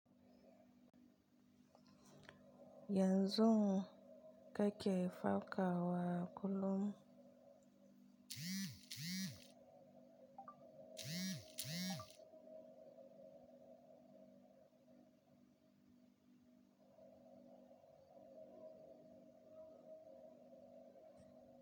Yaushev kake farakawa kullum?